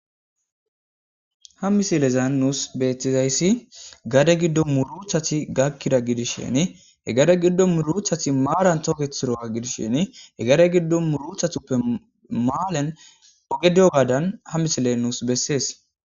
ha misilezan nuus beethtizayssi gade giddo muruchati gakkida gidisheni hegade giddo muruchati maalan tookethiroga gidishsheni hegade giddo muruchatuppe maalen ogediyo gaadan ha misile nuus bessees